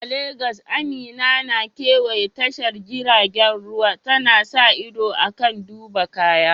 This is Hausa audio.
A Legas, Amina na kewaya tashar jiragen ruwa, tana sa ido kan duba kaya.